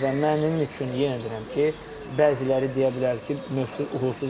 Və mənim üçün yenə deyirəm ki, bəziləri deyə bilər ki, mövzu uğursuzdur.